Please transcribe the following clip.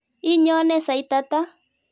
Inyone sait ata?